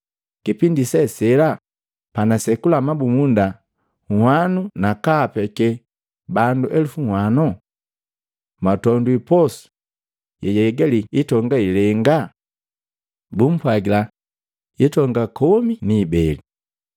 kipindi se sela panasekula mabumunda nwanu nakaapeke bandu elupu nhwano? Mwatondwi posu yeyahigali hitonga ilenga?” Bumpwagila, “Hitonga komi ni ibeli.”